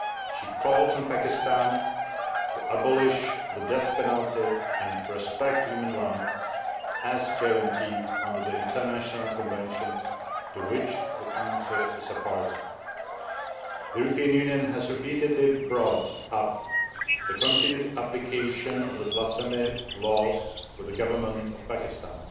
She called on Pakistan to abolish the death penalty and respect human rights, as guaranteed under the international conventions to which the country is a party. The European Union has repeatedly brought up the continued application of the blasphemy laws with the government of Pakistan